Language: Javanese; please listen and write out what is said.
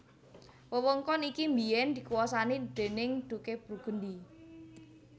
Wewengkon iki biyèn dikuwasani déning Duke Burgundy